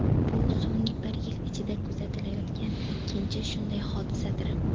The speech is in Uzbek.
Bu so‘nggi bir yil ichida kuzatilayotgan ikkinchi shunday hodisadir.